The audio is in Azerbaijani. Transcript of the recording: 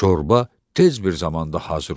Şorba tez bir zamanda hazır oldu.